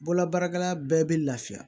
Bololabaarakɛla bɛɛ bɛ lafiya